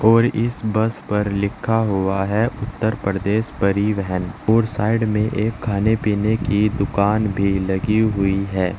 और इस बस पर लिखा हुआ है उत्तर प्रदेश परिवहन और साइड में एक खाने पीने की दुकान भी लगी हुई है।